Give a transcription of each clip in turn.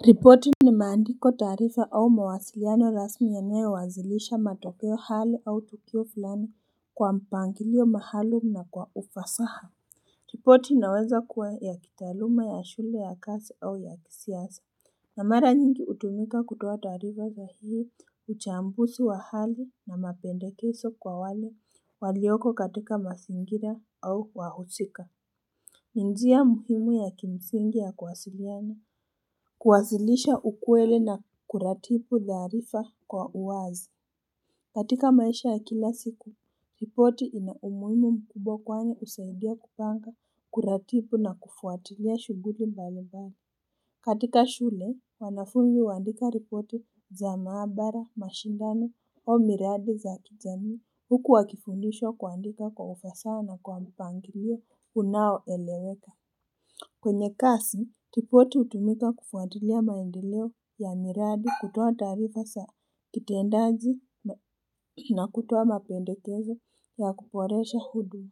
Ripoti ni maandiko taarifa au mawasiliano rasmi yanayo wasilisha matokeo hali au tukio fulani kwa mpangilio mahalumu na kwa ufasaha ripoti inaweza kuwa ya kitaaluma ya shule ya kazi au ya kisiasa na mara nyingi hutumika kutoa taarifa za hii uchambuzi wa hali na mapendekezo kwa wale walioko katika mazingira au wahusika ni njia muhimu ya kimsingi ya kuwasiliana kuwasilisha ukweli na kuratibu taarifa kwa uwazi katika maisha ya kila siku ripoti ina umuhimu mkubwa kwani husaidia kupanga kuratibu na kufuatilia shughuli mbalimbali katika shule wanafunzi huandika ripoti za maabara mashindano au miradi za kijamii huku wakifundishwa kuandika kwa ufasaha na kwa mpangilio unaoeleweka kwenye kazi ripoti hutumika kufuatilia maendeleo ya miradi kutoa taarifa za kitendaji na kutoa mapendekezo ya kuboresha huduma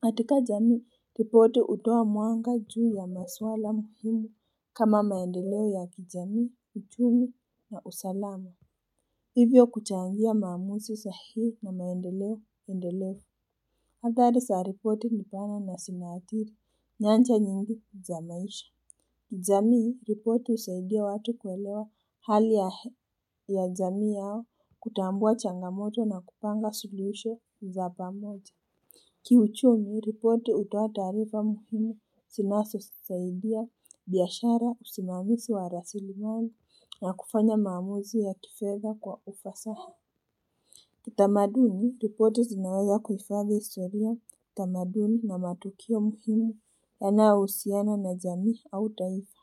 katika jamii ripoti hutoa mwanga juu ya masuala muhimu kama maendeleo ya kijamii uchumi na usalama hivyo kuchangia maamuzi sahihi na maendeleo endelevu athari za ripoti ni pana na zinaathiri nyanja nyingine za maisha jamii ripoti husaidia watu kuelewa hali ya jamii yao kutambua changamoto na kupanga solution za pamoja kiuchumi ripoti hutoa taarifa muhimu zinazo saidia biashara usimamizi wa rasilimali na kufanya maamuzi ya kifedha kwa ufasaha kiutamaduni ripoti zinaweza kuhifadhi historia tamaduni na matukio muhimu yanayohusiana na jamii au taifa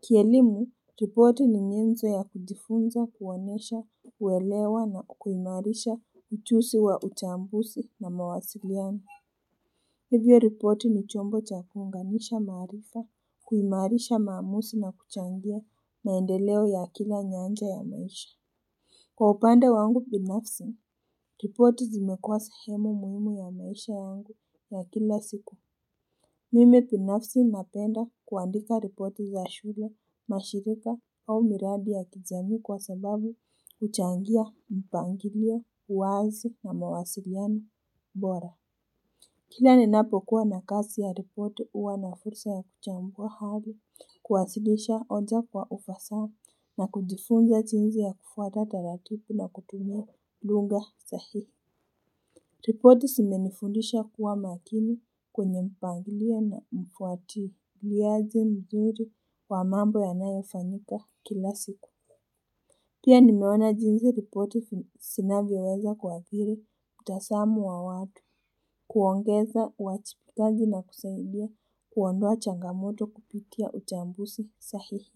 kielimu ripoti ni nyenzo ya kijifunza kuonesha kuelewa na kuimarisha ujuzi wa uchambuzi na mawasiliano hivyo ripoti ni chombo cha kuunganisha maharifa kuimarisha maamuzi na kuchangia maendeleo ya kila nyanja ya maisha kwa upande wangu binafsi ripoti zimekua sahemu muhimu ya maisha yangu ya kila siku mimi binafsi napenda kuandika ripoti za shule mashirika au miradi ya kijamii kwa sababu huchangia mpangilio uwazi na mawasiliano bora kila ninapokuwa na kazi ya ripoti huwa na fursa ya kuchambua hali kuwasilisha hoja kwa ufasa na kujifunza jinsi ya kufuata taratibu na kutumia lugha sahihi ripoti zimenifundisha kuwa makini kwenye mpangilio na mfuatiliaji mzuri wa mambo yanayofanyika kila siku pia nimeona jinsi ripoti zinavyoweza kuathiri mtazamo wa watu kuongeza uwajibikaji na kusaidia kuondoa changamoto kupitia uchambuzi sahihi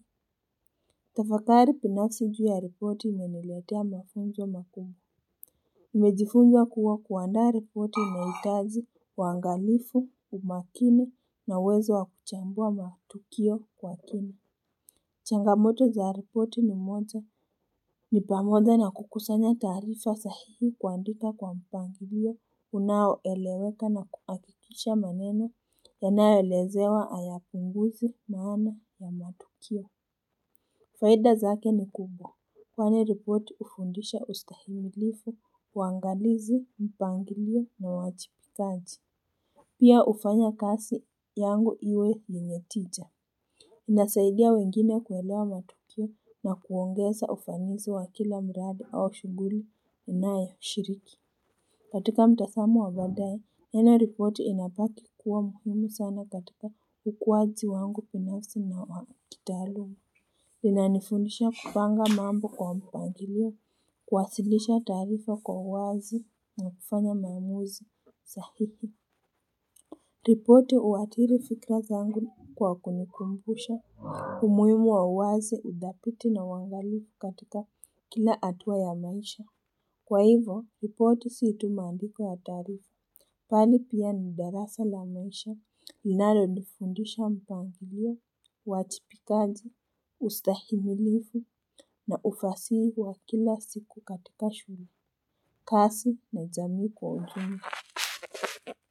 tafakari binafsi juu ya ripoti imeniletea mafunzo makubwa nimejifunza kuwa kuandaa ripoti inahitaji uangalifu umakini na uwezo wa kuchambua matukio kwa kina changamoto za ripoti ni moja ni pamoja na kukusanya taarifa sahihi kuandika kwa mpangilio unaoeleweka na kuhakikisha maneno yanayo elezewa hayapunguzi maana ya matukio faida zake ni kubwa kwani ripoti hufundisha ustahimilivu uangalizi mpangilio na uwajibikaji pia hufanya kazi yangu iwe yenye tija inasaidia wengine kuelewa matukio na kuongeza ufanisi wa kila mradi au shughuli unayoshiriki katika mtazamo wa baadae neno ripoti inabaki kuwa muhimu sana katika ukuaji wangu binafsi na wa kitaaluma linanifundisha kupanga mambo kwa mpangilio kuwasilisha taarifa kwa uwazi na kufanya mamuzi sahihi ripoti huathiri fikra zangu kwa kunikumbusha umuhimu wa uwazi uthabiti na uangalifu katika kila hatua ya maisha kwa hivyo ripoti si tu maandiko ya taarifa bali pia ni darasa la maisha linalo nifundisha mpangilio uwajibikaji ustahimilivu na ufasihi wa kila siku katika shughuli kazi na jamii kwa ujumla.